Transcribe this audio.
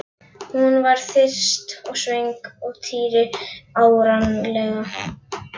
Hún var þyrst og svöng og Týri áreiðanlega líka.